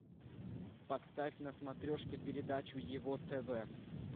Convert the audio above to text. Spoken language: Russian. поставь на смотрешке передачу его тв